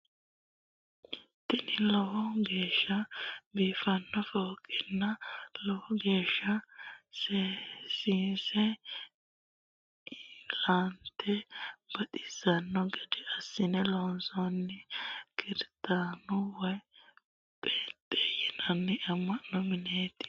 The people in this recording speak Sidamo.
Tini lowo geeshsa biifanno fooqenna lowo geeshsa seesinse inna la"ate baxissanno gede assine loonsanniwi kirstanu woy peenxe yinay ama'no mineti.